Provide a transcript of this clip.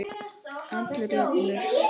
Allir jafnir.